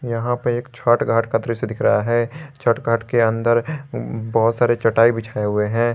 यहां पर एक छठ घाट का दृश्य दिख रहा है छठ घाट के अंदर बहोत सारे चटाई बिछाई हुए हैं।